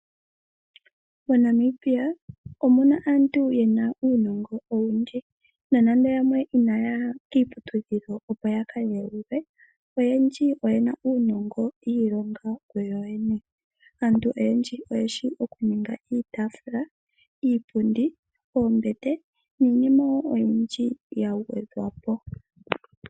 MoNamibia omuna aantu yena uunongo owundji nonande yamwe inaaya kiiputudhilo opo yakadheulwe oyendji oyena uunongo yiilonga kuyoyene. Aantu oyendji oyeshi okuninga iitaafula, iipundi, oombete niinima oyindji yagwedhwapo.